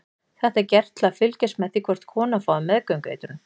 Þetta er gert til að fylgjast með því hvort konan fái meðgöngueitrun.